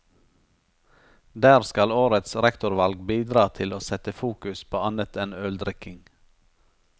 Der skal årets rektorvalg bidra til å sette fokus på annet enn øldrikking.